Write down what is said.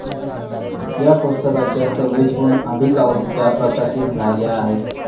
या पुस्तकाच्या सव्वीसहून अधिक आवृत्त्या प्रकाशित झाल्या आहेत.